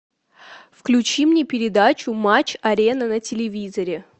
включи мне передачу матч арена на телевизоре